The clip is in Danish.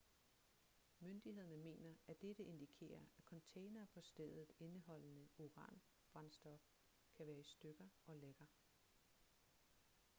myndighederne mener at dette indikerer at containere på stedet indeholdende uranbrændstof kan være i stykker og lækker